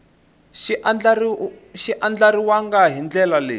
xi andlariwangi hi ndlela leyi